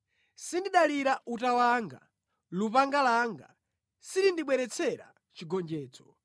Sindidalira uta wanga, lupanga langa silindibweretsera chigonjetso;